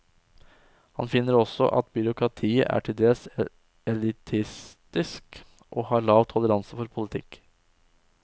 Han finner også at byråkratiet er til dels elitistisk og har lav toleranse for politikk.